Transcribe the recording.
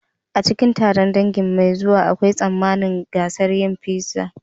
A cikin taron dangi mai zuwa, akwai tsammanin gasar yin pizza.